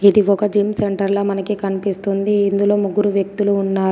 ఇది ఒక జిమ్ సెంటర్లా మనకి కనిపిస్తుంది. ఇందులో ముగ్గురు వ్యక్తులు ఉన్నారు.